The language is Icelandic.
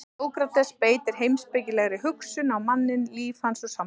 En Sókrates beitir heimspekilegri hugsun á manninn, líf hans og samfélag.